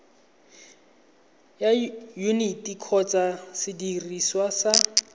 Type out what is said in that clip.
ya yuniti kgotsa sediriswa sa